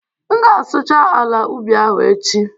M ga-asụcha ala ubi ahụ echi